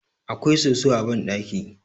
akwai soso a bandaki